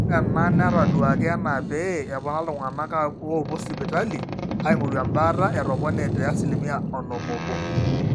ore ena netaduaaki enaa pee epona iltung'anak oopuo sipitali aing'orru embaata etopone te asilimia onom oobo